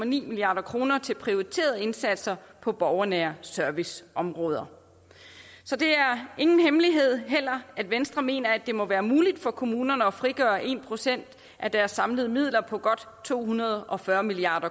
milliard kroner til prioriterede indsatser på borgernær service området så det er ingen hemmelighed at venstre mener at det må være muligt for kommunerne at frigøre en procent af deres samlede midler på godt to hundrede og fyrre milliard